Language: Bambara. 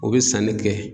O bɛ sanni kɛ